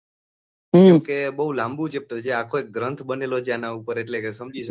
કેમ કે બઉ લાંબુ છે પ્રજા આ કોઈ ગ્રંથ બનેલો છે અન પર એટલે સમજી લો.